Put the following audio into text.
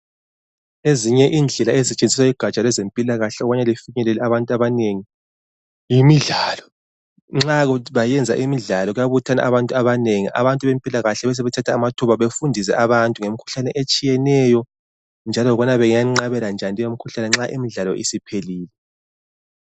Ezinye indlela ezisetshenziswa lugaja lwezempilakahle ukuthi bafinyelele abantu abanengi yimidlalo. Nxa kuyikuthi benza imidlalo, kubuthana abantu abanengi. Abantu bezempilakahle bahle bathathe amathuba ukuthi bafundise abantu ngemikhuhlane etshiyeneyo, njalo ukuthi bafundise abantu ukuthi bangayenqabela njani leyomikhuhlane, nxa imidlalo isiphelile.